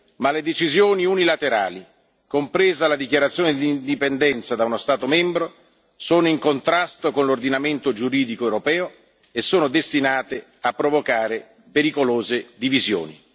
Ma le decisioni unilaterali, compresa la dichiarazione di indipendenza da uno Stato membro, sono in contrasto con l'ordinamento giuridico europeo e sono destinate a provocare pericolose divisioni.